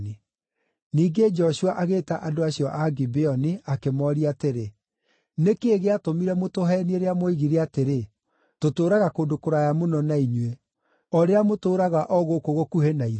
Ningĩ Joshua agĩĩta andũ acio a Gibeoni akĩmooria atĩrĩ, “Nĩ kĩĩ gĩatũmire mũtũheenie rĩrĩa mwoigire atĩrĩ, ‘Tũtũũraga kũndũ kũraya mũno na inyuĩ,’ o rĩrĩa mũtũũraga o gũkũ gũkuhĩ na ithuĩ?